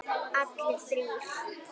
Allir þrír?